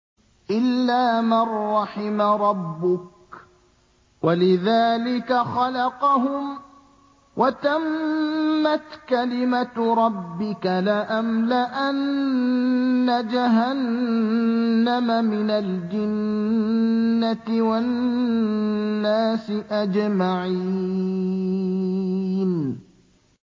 إِلَّا مَن رَّحِمَ رَبُّكَ ۚ وَلِذَٰلِكَ خَلَقَهُمْ ۗ وَتَمَّتْ كَلِمَةُ رَبِّكَ لَأَمْلَأَنَّ جَهَنَّمَ مِنَ الْجِنَّةِ وَالنَّاسِ أَجْمَعِينَ